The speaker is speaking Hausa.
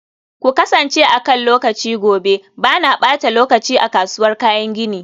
ku kasance akan lokaci gobe, ba na ɓata lokaci a kasuwar kayan gini.